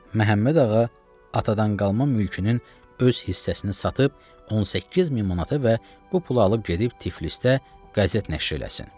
Məhəmməd Ağa atadan qalma mülkünün öz hissəsini satıb 18000 manata və bu pulu alıb gedib Tiflisdə qəzet nəşr eləsin.